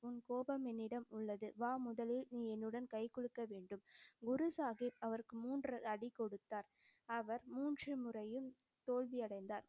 உன் கோபம் என்னிடம் உள்ளது. வா, முதலில் நீ என்னுடன் கைகுலுக்க வேண்டும். குரு சாஹிப் அவருக்கு மூன்று அடி கொடுத்தார். அவர் மூன்று முறையும் தோல்வியடைந்தார்.